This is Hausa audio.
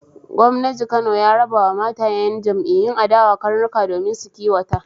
Gwamnaji Kano ya rabawa matayen yan'iyyun adawa karnuka domin su kiwata.